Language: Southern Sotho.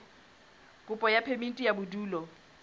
kopo ya phemiti ya bodulo